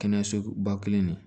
Kɛnɛyaso ba kelen de